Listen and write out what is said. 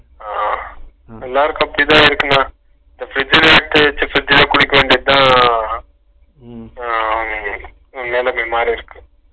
ஆஹா எல்லாருக்கும் அப்பிடிதா இருக்கு அண்ணா இப்ப fridge லே வெச்சு fridge லே குளிக்க வேன்டியதுதா அண்ணா மாறிருக்கு